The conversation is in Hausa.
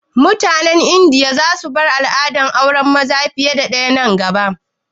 Mutanen Indiya za su bar al'adar auren maza fiye da ɗaya nan gaba?